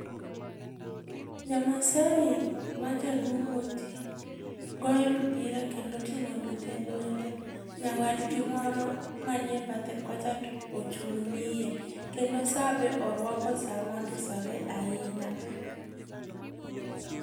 Jamaasai ma jaduong' moti goyo mpira kendo oting'o luth e lwete, nyawadgi moro manie bathe kocha to ochung' ng'iye, kendo sa be oruako sa mondisore ainya.